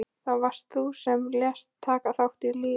Það varst þú sem lést taka þá af lífi.